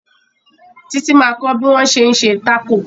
Títí ma kọ́ bí wọ́n ṣé ń ṣe Tákò